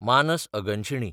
मानस अगनशिणी